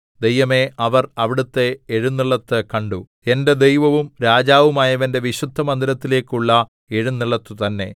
ദൈവമേ അവർ അവിടുത്തെ എഴുന്നെള്ളത്ത് കണ്ടു എന്റെ ദൈവവും രാജാവുമായവന്റെ വിശുദ്ധമന്ദിരത്തിലേക്കുള്ള എഴുന്നെള്ളത്തു തന്നേ